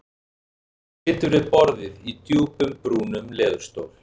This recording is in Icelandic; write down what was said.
Hann situr við borðið í djúpum brúnum leðurstól.